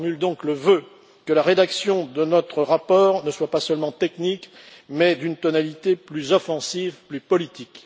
Je formule donc le vœu que la rédaction de notre rapport ne soit pas seulement technique, mais d'une tonalité plus offensive, plus politique.